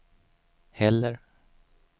heller